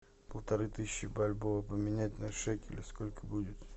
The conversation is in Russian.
полторы тысячи бальбоа поменять на шекели сколько будет